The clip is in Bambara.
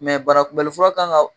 bara kunbɛli furakan kan ka